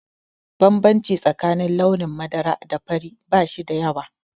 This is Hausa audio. Bambanci tsakanin launin madara da fari ba shi da yawa.